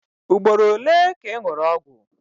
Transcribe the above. Ugboro ole ka ị ṅụrụ ọgwụ?